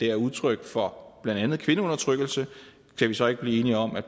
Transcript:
er udtryk for blandt andet kvindeundertrykkelse kan vi så ikke blive enige om at